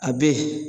A be yen